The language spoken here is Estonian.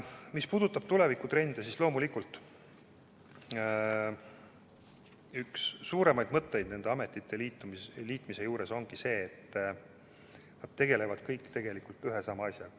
Mis puudutab tulevikutrende, siis loomulikult üks põhimõtteid nende ametite liitmisel ongi see, et nad tegelevad kõik ühe ja sama asjaga.